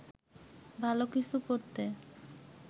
ভালো কিছু করতে